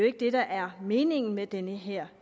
ikke det der er meningen med den her